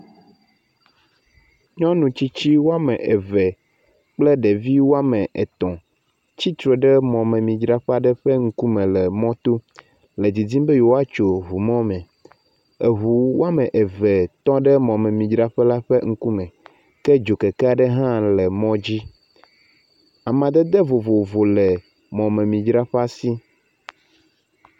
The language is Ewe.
Nyɔnu eve aɖewo kple woƒe vi etɔ̃ wole bagi yibɔ aɖewo ɖe asi, wotsi tsitre ɖe mɔmemidzrala aɖe ƒe ŋgɔ mɔ me kpɔm be yewoatso mɔ me ayi ɖe go kɛmɛ dzi.